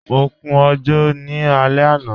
Mọ kún ojò ní alẹ̀ ana.